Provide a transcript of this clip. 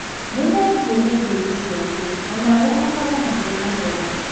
Nĩ thengio nĩ ngeithi ciaku, o na we ũkorwo na mũthenya mwega.